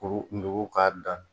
Kuru kun k'a dan